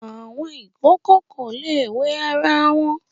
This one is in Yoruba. Àwọn ìkòkò kò le wẹ ara wọn.